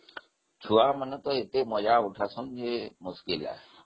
ଛୁଆମାନନେ ଯେତେ ମଜା କରୁଛନ୍ତି ଯେ